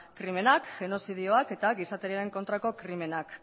krimenak genozidioak eta gizateriaren kontrako krimenak